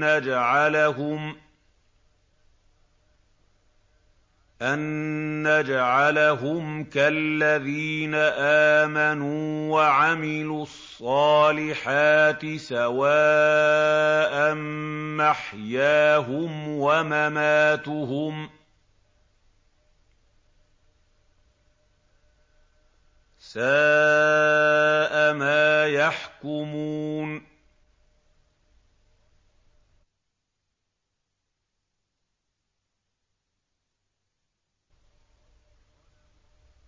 نَّجْعَلَهُمْ كَالَّذِينَ آمَنُوا وَعَمِلُوا الصَّالِحَاتِ سَوَاءً مَّحْيَاهُمْ وَمَمَاتُهُمْ ۚ سَاءَ مَا يَحْكُمُونَ